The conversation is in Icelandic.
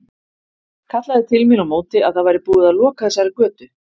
Kallaði til mín á móti að það væri búið að loka þessari götu.